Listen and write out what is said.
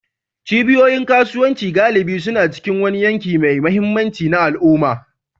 Cibiyoyin kasuwanci galibi suna cikin wani yanki mai mahimmanci na al'umma.